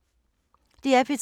DR P3